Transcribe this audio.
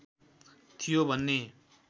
थियो भन्ने